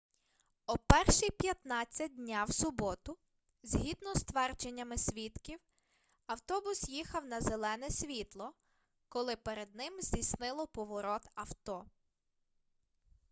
о 1:15 дня в суботу згідно з твердженнями свідків автобус їхав на зелене світло коли перед ним здійснило поворот авто